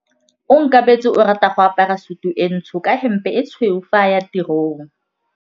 Onkabetse o rata go apara sutu e ntsho ka hempe e tshweu fa a ya tirong.